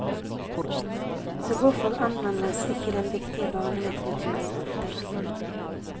Så hvorfor anmeldes ikke den viktige barnelitteraturen oftere?